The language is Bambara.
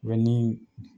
ni